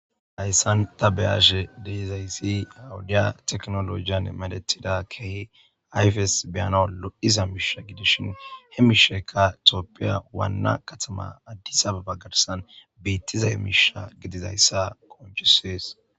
Hayssan ta beyashe deezayssi awudiya teknolojiyan medetida kehi yfes beyana lod7iza miisha gidishin he mishekka tooppiya waanna katama addisa abagarsan beittiza hemiisha gidizayssa konchisees